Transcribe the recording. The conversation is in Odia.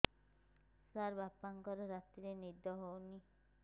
ସାର ବାପାଙ୍କର ରାତିରେ ନିଦ ହଉନି